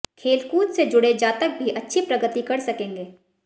खेल कूद से जुड़े जातक भी अच्छी प्रगति कर सकेंगे